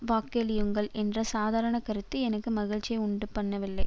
வாக்களியுங்கள் என்ற சாதாரண கருத்து எனக்கு மகிழ்ச்சியை உண்டுபண்ணவில்லை